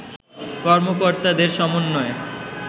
কর্মকর্তাদের সমন্বয়ে